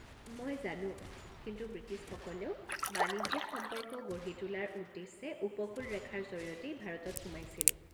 মই জানো, কিন্তু বৃটিছসকলেও বাণিজ্যিক সম্পৰ্ক গঢ়ি তোলাৰ উদ্দেশ্যে উপকূল ৰেখাৰ জৰিয়তেই ভাৰতত সোমাইছিল।